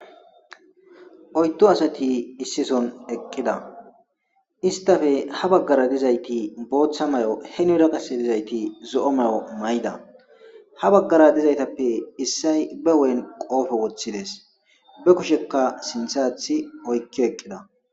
Oyddu asati issi soon eqida istappe ha bagara dizayti boththa mayo henira qase dizayti zo'o mayo mayida ha bagara dizaytappe issoy be huphphen qofe wothades be kushshekka sinththe aththi oykki eqida